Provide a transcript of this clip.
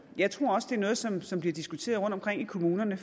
jeg tror også det er noget som som bliver diskuteret rundtomkring i kommunerne